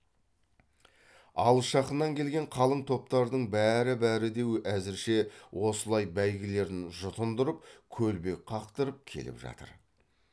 алыс жақыннан келген қалың топтардың бәрі бәрі де әзірше осылай бәйгілерін жұтындырып көлбек қақтырып келіп жатыр